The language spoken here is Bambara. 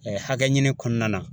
hakɛ ɲini kɔnɔna na